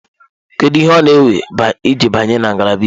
Kedu ihe ọ na-ewe iji banye na ngalaba Iwu?